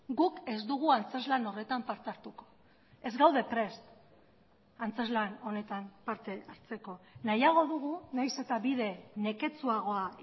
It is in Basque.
guk ez dugu antzezlan horretan parte hartuko ez gaude prest antzezlan honetan parte hartzeko nahiago dugu nahiz eta bide neketsuagoa